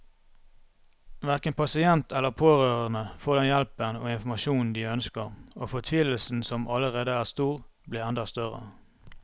Hverken pasient eller pårørende får den hjelpen og informasjonen de ønsker, og fortvilelsen som allerede er stor, blir enda større.